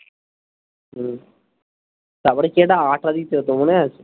হম তারপরে কি একটা আঠা দিতে হতো মনে আছে?